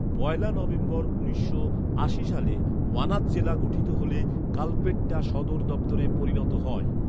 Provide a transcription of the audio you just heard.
পয়লা November উনিশশো আশি সালে ওয়ানাদ জেলা গঠিত হলে কালপেট্টা সদর দফতরে পরিণত হয়।